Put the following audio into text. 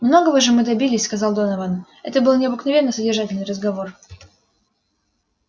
многого же мы добились сказал донован это был необыкновенно содержательный разговор